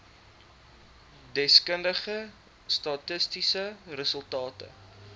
deskundige statistiese resultate